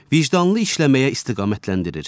Vicdanlı işləməyə istiqamətləndirir.